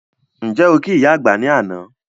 Ǹjẹ́ okí ìyá àgbà ní àná?